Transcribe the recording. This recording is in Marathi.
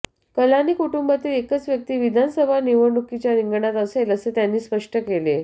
कलानी कुटुंबातील एकच व्यक्ती विधानसभा निवडणुकीच्या रिंगणात असेल असे त्यांनी स्पष्ट केले